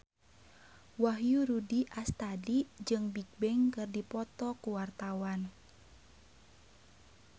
Wahyu Rudi Astadi jeung Bigbang keur dipoto ku wartawan